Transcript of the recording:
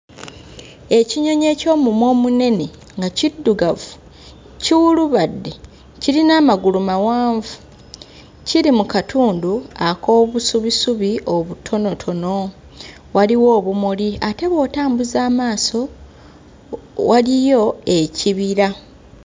Ekinyonyi eky'omumwa omunene nga kiddugavu kiwulubadde, kirina amagulu mawanvu, kiri mu katundu ak'obusubisubi obutonotono. Waliwo obumuli ate bw'otambuza amaaso o waliyo ekibira.